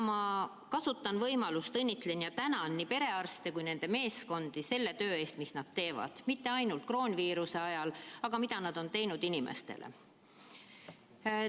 Ma kasutan võimalust ja õnnitlen ja tänan nii perearste kui ka nende meeskondi selle töö eest, mida nad teevad kroonviiruse ajal, ja kõige eest, mida nad on inimeste heaks teinud.